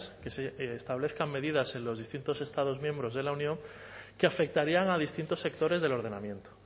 que se establezcan medidas en los distintos estados miembros de la unión que afectarían a distintos sectores del ordenamiento